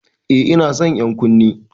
Eh ina son ƴan'ƙunnen.